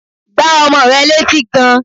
Gbá ọmọ rẹ létí gan!